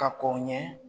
Ka kɔn ɲɛ